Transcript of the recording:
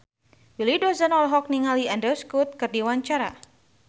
Willy Dozan olohok ningali Andrew Scott keur diwawancara